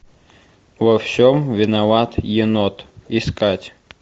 во всем виноват енот искать